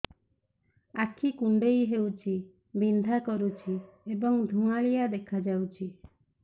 ଆଖି କୁଂଡେଇ ହେଉଛି ବିଂଧା କରୁଛି ଏବଂ ଧୁଁଆଳିଆ ଦେଖାଯାଉଛି